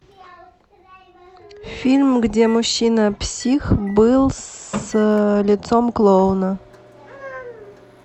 фильм где мужчина псих был с лицом клоуна